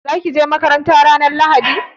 Za ki je makaranta ranar Lahadi?